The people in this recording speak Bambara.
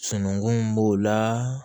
Sunungu b'o la